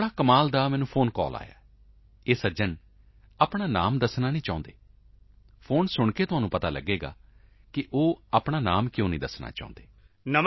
ਇੱਕ ਵੱਡਾ ਕਮਾਲ ਦਾ ਮੈਨੂੰ ਫੋਨ ਕਾਲ ਆਇਆ ਹੈ ਉਹ ਸੱਜਣ ਆਪਣਾ ਨਾਂ ਨਹੀਂ ਦੱਸਣਾ ਚਾਹੁੰਦੇ ਹਨ ਫੋਨ ਸੁਣ ਕੇ ਤੁਹਾਨੂੰ ਪਤਾ ਚਲੇਗਾ ਕਿ ਉਹ ਆਪਣਾ ਨਾਂ ਕਿਉਂ ਨਹੀਂ ਦੱਸਣਾ ਚਾਹੁੰਦੇ ਹਨ